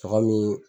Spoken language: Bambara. Tɔgɔ min